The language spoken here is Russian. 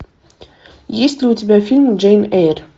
есть ли у тебя фильм джейн эйр